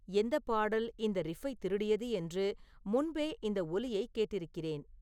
எந்தப் பாடல் இந்த ரிஃப்பைத் திருடியது என்று முன்பே இந்த ஒலியைக் கேட்டிருக்கிறேன்